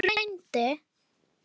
En hún reyndi.